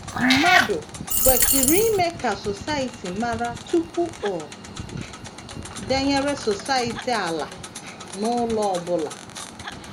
Mmadụ kwesịrị ime ka Society mara tupu o denyere Society ala na ụlọ ọ bụla.